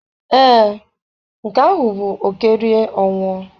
Ee, nke ahụ bụ oké rie ọ nwụọ.